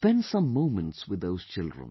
And spend some moments with those children